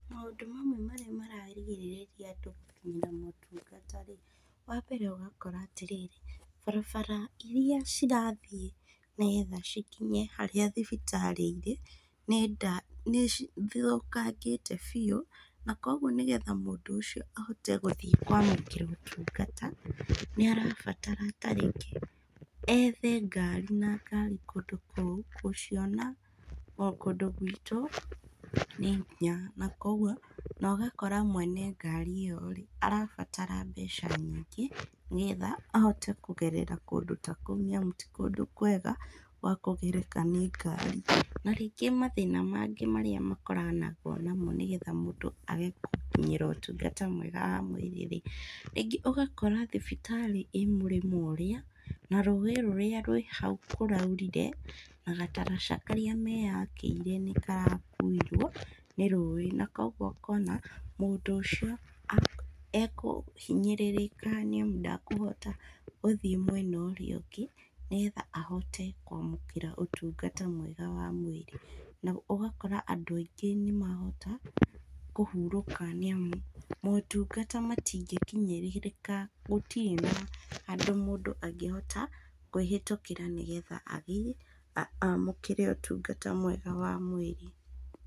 Maũndũ mamwe marĩa mararigĩrĩria andũ gũkinyĩra motungata rĩ, wambere ũgakora atĩrĩrĩ, barabara iria cirathi nĩgetha cikinye harĩa thibitarĩ irĩ, nĩnda nĩcithũkangĩte biũ, na koguo nĩguo mũndũ ũcio ahote gũthiĩ kwamũkĩra ũtungata, nĩarabatara ta rĩngĩ ethe ngari, na ngari kũndũ kũu kũciona, o kũndũ gwitũ nĩ hinya na koguo, nogakora mwene ngari íyo rĩ, arabatara mbeca nyingĩ, nĩgetha ahote kũgerera kũndũ ta kũu nĩamu ti kũndũ kwega gwa kũgereka nĩ ngari, na rĩngĩ mathĩna mangĩ marĩa makoranagwo namo nĩgetha mũndũ agĩ gũkinyĩra ũtungata mwega wa mwĩrĩ rĩ, rĩngĩ ũgakora thibitarĩ í múrĩmo ũrĩa, na rũĩ rũrĩa rwĩ hau kũraurire, na gataraca karĩa meyakĩire nĩkarakuirwo nĩ rũĩ, na koguo ũkona mũndũ ũcio ekũhinyĩrĩrĩka nĩamu ndekũhota gũthiĩ mwena ũrĩa ũngĩ, nĩgetha ahote kwamũkĩra ũtungata mwega wa mwĩrĩ, na ũgakora andũ aingĩ nĩmahota kũhurũka nĩamu, motungata matingĩkinyĩrĩrĩka gũti na handũ mũndũ angĩhota kwĩhĩtũkĩra nĩgetha athi amũkĩre ũtungata mwega wa mwĩrĩ.